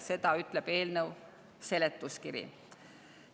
Seda ütleb eelnõu seletuskiri.